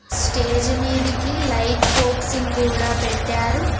Stage మీదికి light focusing కూడా పెట్టారు.